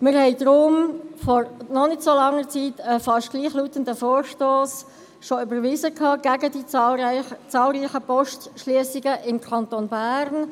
Wir haben deshalb vor noch nicht so langer Zeit einen fast gleichlautenden Vorstoss) erfolgreich überwiesen, der sich gegen die zahlreichen Postschliessungen im Kanton Bern